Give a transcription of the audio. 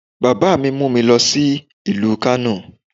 Bàbá mi mu mi lọ sí ìlú Kánò